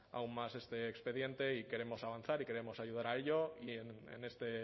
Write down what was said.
aún más este expediente y queremos avanzar y queremos ayudar a ello y en este